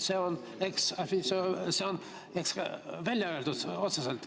See on eksplitsiitselt välja öeldud, otseselt.